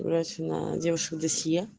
девушка